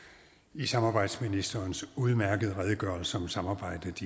i samarbejdsministerens udmærkede redegørelse om samarbejdet